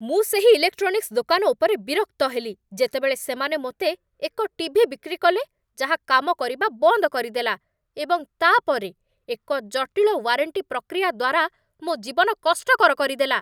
ମୁଁ ସେହି ଇଲେକ୍ଟ୍ରୋନିକ୍ସ ଦୋକାନ ଉପରେ ବିରକ୍ତ ହେଲି ଯେତେବେଳେ ସେମାନେ ମୋତେ ଏକ ଟି.ଭି. ବିକ୍ରି କଲେ ଯାହା କାମ କରିବା ବନ୍ଦ କରିଦେଲା, ଏବଂ ତା'ପରେ ଏକ ଜଟିଳ ୱାରେଣ୍ଟି ପ୍ରକ୍ରିୟା ଦ୍ୱାରା ମୋ ଜୀବନ କଷ୍ଟକର କରିଦେଲା।